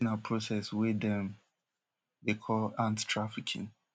dis na process wey dem dey call ant trafficking